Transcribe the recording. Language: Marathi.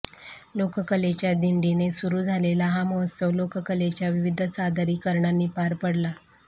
लोककलेच्या दिंडीने सुरु झालेला हा महोत्सव लोककलेच्या विविध सादरीकरणांनी पार पडला